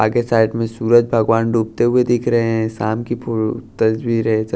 आगे साइड में सूरज भगवान डूबते हुए दिख रहे हैं शाम की तस्वीर है।